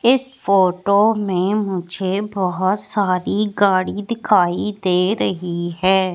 इस फोटो में मुझे बहोत सारी गाड़ी दिखाई दे रही हैं।